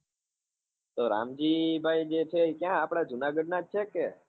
તો રામજી ભાઈ જે છે એ ક્યાં આપડે જુનાગઢ ના જ છે કે?